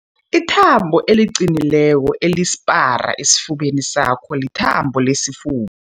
Ithambo eliqinileko elisipara esifubeni sakho lithambo lesifuba.